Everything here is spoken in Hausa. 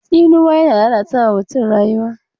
Tsinuwa yana lalata wa mutum rayuwa.